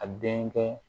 A denkɛ